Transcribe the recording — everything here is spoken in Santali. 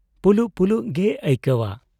ᱯᱩᱞᱩᱜ ᱯᱩᱞᱩᱜ ᱜᱮᱭ ᱟᱹᱭᱠᱟᱹᱣᱟ ᱾